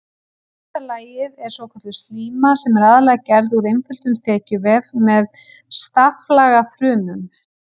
Innsta lagið er svokölluð slíma sem er aðallega gerð úr einföldum þekjuvef með staflaga frumum.